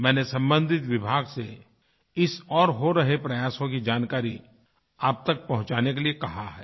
मैंने सम्बंधित विभाग से इस ओर हो रहे प्रयासों की जानकारी आप तक पहुँचाने के लिए कहा है